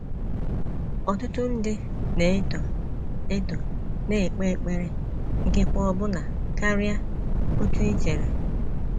ỌTỤTỤ ndị na - eto eto na - ekpe ekpere ikekwe ọbụna karịa otú i chere.